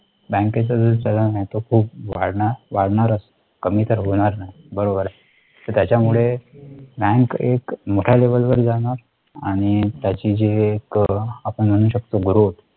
बँकेच जे चलन आहे ते खूप वाढणारकमी तर होणार नाही बरोबर त्याच्यामुळे bank एक मोठा level वर जाणार आणि त्याची जी एक आपण म्हणू शकतो growth त्याचा